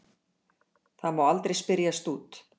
Það má aldrei spyrjast út.